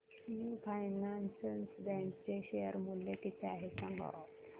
AU finance bank चे share मूल्य किती आहे सांगा